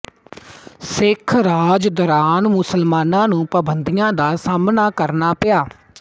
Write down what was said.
ਸਿੱਖ ਰਾਜ ਦੌਰਾਨ ਮੁਸਲਮਾਨਾਂ ਨੂੰ ਪਾਬੰਦੀਆਂ ਦਾ ਸਾਹਮਣਾ ਕਰਨਾ ਪਿਆ